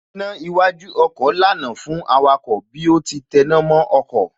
Iná iwájú ọkọ̀ lànà fún awakọ̀ bí ó ti tẹná mọ́ ọkọ̀